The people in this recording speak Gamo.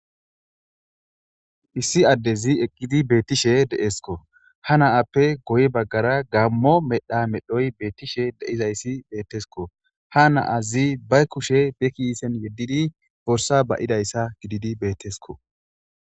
issi addezi eqqidi beettishe deeskko ha naappe goy baggara gammo medha medhoy beettishe de7izayssi beettesko ha naazi bay kushe bekiisen yeddidi borsa ba7idayssa gididi bettesko